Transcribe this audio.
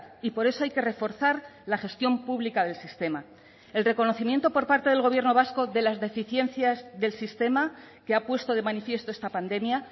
y por eso hay que reforzar la gestión pública del sistema el reconocimiento por parte del gobierno vasco de las deficiencias del sistema que ha puesto de manifiesto esta pandemia